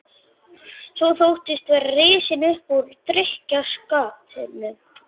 Svo þóttistu vera risinn upp úr drykkjuskapnum.